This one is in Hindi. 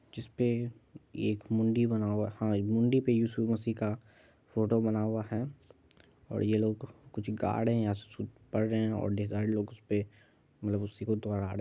जिसपे ये एक मुण्डी बना हुआ है मुंदडी पे यीशु मसीह का फोटो बना हुआ है और ये लोग कुछ गा रहे हैकुछ पढ़ रहे और मतलब उसी को दोहरा रहे है।